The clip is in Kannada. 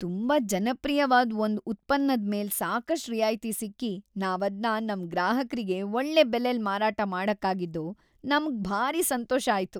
ತುಂಬಾ ಜನಪ್ರಿಯ್ವಾದ್ ಒಂದ್ ಉತ್ಪನ್ನದ್ ಮೇಲೆ ಸಾಕಷ್ಟ್ ರಿಯಾಯ್ತಿ ಸಿಕ್ಕಿ ನಾವದ್ನ ನಮ್ ಗ್ರಾಹಕ್ರಿಗೆ ಒಳ್ಳೆ ಬೆಲೆಲ್‌ ಮಾರಾಟ ಮಾಡಕ್ಕಾಗಿದ್ದು ನಮ್ಗ್ ಭಾರಿ ಸಂತೋಷ ಆಯ್ತು.